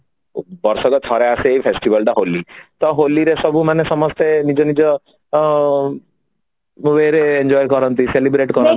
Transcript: ବର୍ଷକେ ଥରେ ଆସେ ଏଇ festival ଟା ହୋଲି ରେ ସବୁ ମାନେ ସମସ୍ତେ ନିଜ ନିଜ ଅ enjoy କରନ୍ତି celebrate କରନ୍ତି